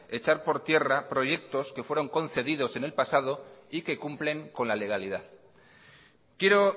echar por tierra proyectos que fueron concedidos en el pasado y que cumplen con la legalidad quiero